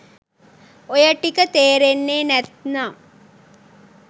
ඔය ටික තේරෙන්නේ නැත්නම්